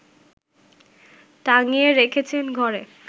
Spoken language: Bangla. টাঙিয়ে রেখেছেন ঘরে